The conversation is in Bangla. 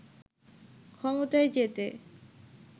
ক্ষমতায় যেতে